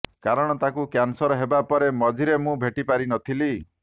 କାରଣ ତାଙ୍କୁ କ୍ୟାନସର ହେବା ପରେ ମଝିରେ ମୁଁ ଭେଟି ପାରିନଥିଲି